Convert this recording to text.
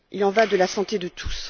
Il y va de la santé de tous.